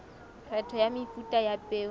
kgetho ya mefuta ya peo